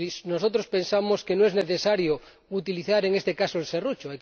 Nosotros pensamos que no es necesario utilizar, en este caso, el serrucho.